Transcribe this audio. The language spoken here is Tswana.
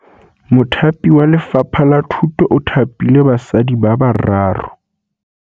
Mothapi wa Lefapha la Thutô o thapile basadi ba ba raro.